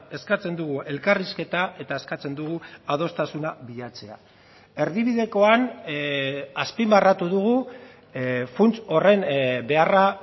eskatzen dugu elkarrizketa eta eskatzen dugu adostasuna bilatzea erdibidekoan azpimarratu dugu funts horren beharra